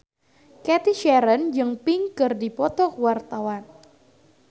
Cathy Sharon jeung Pink keur dipoto ku wartawan